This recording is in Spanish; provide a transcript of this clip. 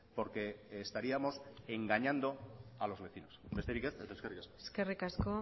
porque estaríamos engañando a los vecinos besterik ez eta eskerrik asko eskerrik asko